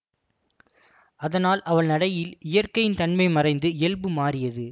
அதனால் அவள் நடையில் இயற்கையின் தன்மை மறைந்து இயல்பு மாறியது